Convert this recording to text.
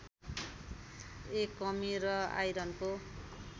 ए कमी र आइरनको